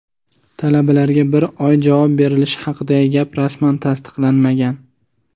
Talabalarga bir oy javob berilishi haqidagi gap rasman tasdiqlanmagan.